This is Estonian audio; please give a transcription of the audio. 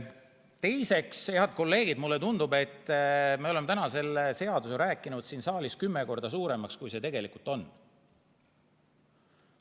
Teiseks, head kolleegid, mulle tundub, et me oleme täna selle seaduse rääkinud siin saalis kümme korda suuremaks, kui see tegelikult on.